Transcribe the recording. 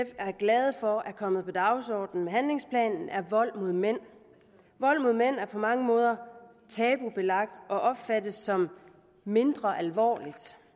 er glade for er kommet på dagsordenen med handlingsplanen er vold mod mænd vold mod mænd er på mange måder tabubelagt og opfattes som mindre alvorligt